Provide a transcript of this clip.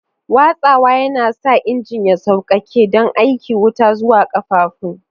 Watsawa yana sa injin ya sauƙaƙe don aika wuta zuwa ƙafafun.